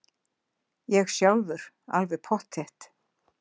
Ég sjálfur alveg pottþétt.